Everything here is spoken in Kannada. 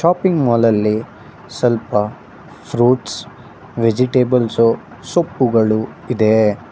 ಶಾಪಿಂಗ್ ಮಾಲ್ ಅಲ್ಲಿ ಸ್ವಲ್ಪ ಫ್ರೂಟ್ಸ್ ವೆಜಿಟೇಬಲ್ಸ್ ಸೊಪ್ಪುಗಳು ಇದೆ.